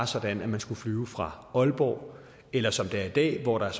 sådan at man skal flyve fra aalborg eller som det er i dag hvor der